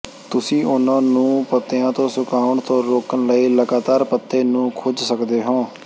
ਤੁਸੀਂ ਉਨ੍ਹਾਂ ਨੂੰ ਪੱਤਿਆਂ ਤੋਂ ਸੁਕਾਉਣ ਤੋਂ ਰੋਕਣ ਲਈ ਲਗਾਤਾਰ ਪੱਤੇ ਨੂੰ ਖੁੰਝ ਸਕਦੇ ਹੋ